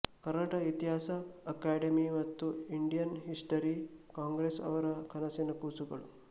ಕರ್ನಾಟಕ ಇತಿಹಾಸ ಅಕಾಡಮಿ ಮತ್ತು Indian History Congress ಅವರ ಕನಸಿನ ಕೂಸುಗಳು